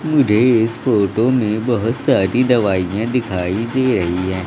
मुझे इस फोटो में बहोत सारी दवाइयां दिखाई दे रही है।